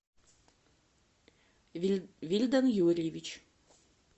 вильдан юрьевич